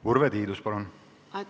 Urve Tiidus, palun!